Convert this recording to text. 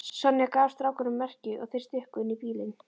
Sonja gaf strákunum merki og þeir stukku inn í bílinn.